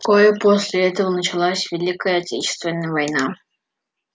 вскоре после этого началась великая отечественная война